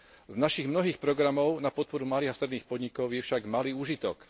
Z našich mnohých programov na podporu malých a stredných podnikov je však malý úžitok.